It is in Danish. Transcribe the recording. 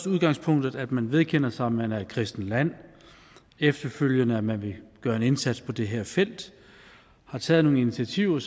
udgangspunktet at man vedkender sig at man er et kristent land og efterfølgende at man vil gøre en indsats på det her felt har taget nogle initiativer